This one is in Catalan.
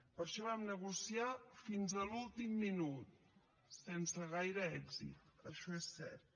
per això vam negociar fins a l’últim minut sense gaire èxit això és cert